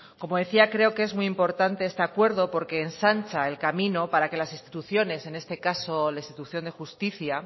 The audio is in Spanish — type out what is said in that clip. como decía creo que es muy importante este acuerdo porque ensancha el camino para que las instituciones en este caso la institución de justicia